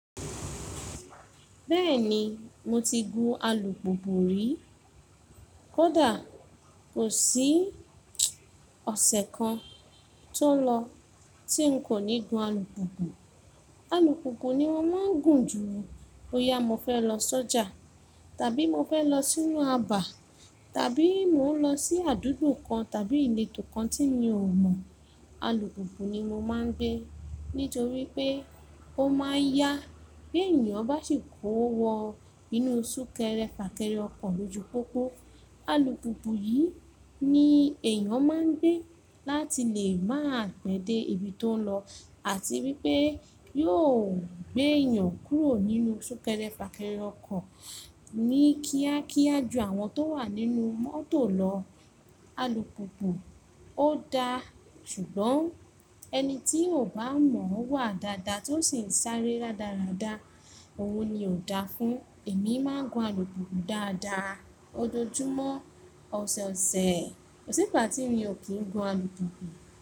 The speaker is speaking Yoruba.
Bẹ́ẹ̀ni mo ti gun alùpùpù rí. Kódà kò sí ọ̀sẹ̀ kan tó lọ tí n kò ní gun alùpùpù. Alùpùpù ni mo máa ń gùn jù o. Bóyá mo fẹ́ lọ sọ́jà tàbí mo fẹ́ lọ sínú abà tàbí mò ń lọ sí àdúgbò kan tàbí ìletò kan tí mi ò mọ̀. Alùpùpù ni mo máa ń gbé nítorí pé ó máa n yá. Bí ènìyàn bá sì kó wọ inú súnkẹrẹ fàkẹrẹ ọkọ̀ lójú pópó. Alùpùpù yìí ni èèyàn máa ń gbé láti lè máà pẹ́ dé ibi tó ń lọ àti wípé yóò gbé èèyàn kúrò nínú súnkẹrẹ fàkẹrẹ ọkọ̀ ní kíákíá ju àwọn tó wà nínú mọ́tò lọ. Alùpùpù ó dáa ṣùgbọ́n ẹni tí ò bá mọ̀-ọ́n wà dáadáa tí ó sì ń sáré dáradára, òun ni ò dáa fún. Èmi máa ń gun alùpùpù dáadáa ojoojúmọ́, ọ̀sọ̀ọ̀sẹ̀, kò sígbà tí mi ò kí ń gun alùpùpù.